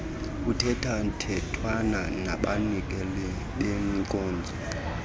kuthethathethwana nabanikeli benkonzo